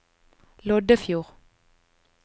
Loddefjord